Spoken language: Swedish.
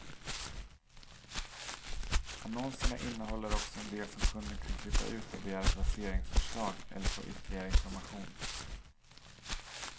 Annonserna innehåller också en del som kunden kan klippa ut och begära placeringsförslag eller få ytterligare information.